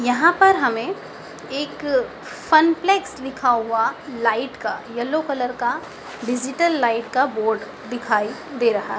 यहां पर हमें एक फन प्लैक्स लिखा हुआ लाइट का येलो कलर का डिजीटल लाइट का बोर्ड दिखाई दे रहा।